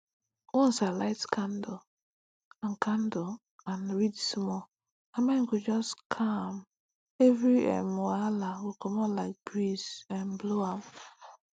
once i light candle and candle and read small my mind go just calm every um wahala go comot like breeze um blow am